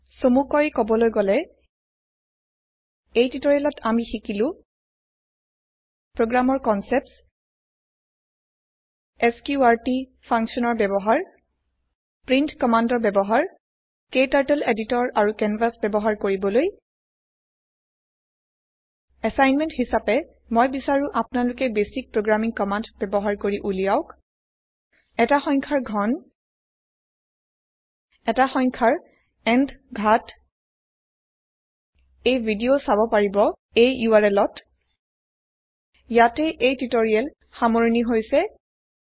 চমুকৈ কবলৈ গলে এই টিউটৰিয়েলত আমি শিকিলো Programৰ কনচেপ্টছ এছক্ৰুটি functionৰ ব্যৱহাৰ প্ৰিণ্ট কম্মান্দ ৰ ব্যৱহাৰ ক্টাৰ্টল এডিটৰ আৰু কেনভাচ ব্যৱহাৰ কৰিবলৈ এচাইনমেন্ট হিচাপে মই বিচাৰো আপোনালোকে বেচিক প্ৰগ্ৰামিং কম্মান্দ ব্যৱহাৰ কৰি ওলিয়াওক এটা সংখ্যাৰ ঘন এটা সংখ্যাৰ ন্থ ঘাত এই ভিদিও চাব পাৰিব এই URLত httpspoken tutorialorgWhat is a spoken tutorial ইয়াতে স্পকেন টিউটৰিয়েল প্ৰজেক্ট সামৰিছো